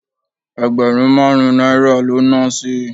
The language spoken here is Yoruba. Ẹgbẹ̀rún márùn-ún náírà ló na sí